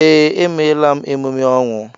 Ee, emela m emume ọnwụ